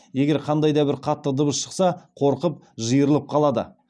егер қандай да бір қатты дыбыс шықса қорқып жиырылып қалады